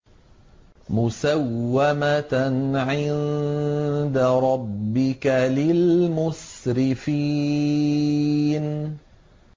مُّسَوَّمَةً عِندَ رَبِّكَ لِلْمُسْرِفِينَ